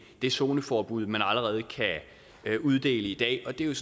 det zoneforbud man allerede kan uddele i dag og det er